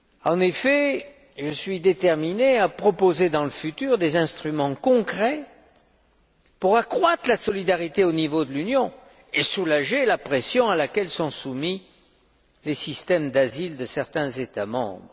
En effet, je suis déterminé à proposer ultérieurement des instruments concrets pour accroître la solidarité au niveau de l'Union et soulager la pression à laquelle sont soumis les systèmes d'asile de certains États membres.